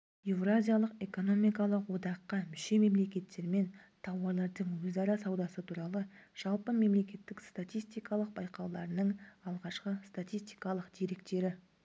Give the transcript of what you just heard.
еуразиялық экономикалық одаққа мүше мемлекеттермен тауарлардың өзара саудасы туралы жалпымемлекеттік статистикалық байқауларының алғашқы статистикалық деректері